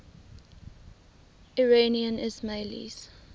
iranian ismailis